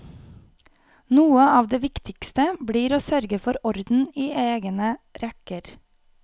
Noe av det viktigste blir å sørge for orden i egne rekker.